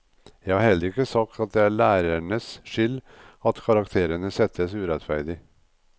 Jeg har heller ikke sagt at det er lærernes skyld at karakterene settes urettferdig.